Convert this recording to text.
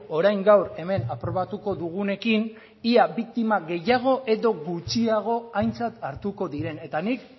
orain gaur hemen aprobatuko dugunekin ea biktima gehiago edo gutxiago aintzat hartuko diren eta nik